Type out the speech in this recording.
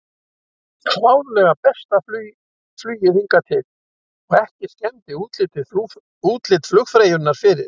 Klárlega besta flugið hingað til og ekki skemmdi útlit flugfreyjunnar fyrir.